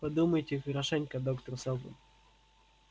подумайте хорошенько доктор сэлдон